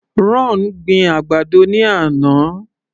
Ron gbin àgbàdo ní àná.